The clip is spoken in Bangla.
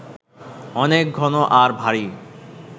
অনেক ঘন আর ভারি